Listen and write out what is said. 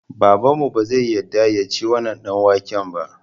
Babanmu bazai yadda yaci wannan ɗanwaken ba